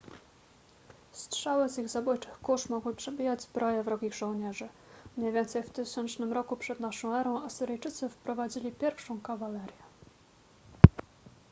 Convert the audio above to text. strzały z ich zabójczych kusz mogły przebijać zbroje wrogich żołnierzy mniej więcej w 1000 r p.n.e. asyryjczycy wprowadzili pierwszą kawalerię